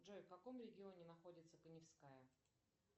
джой в каком регионе находится коневская